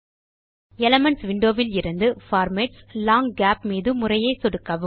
elements window இலிருந்து பார்மாட்ஸ்க்ட் லாங் கேப் மீது முறையே சொடுக்கவும்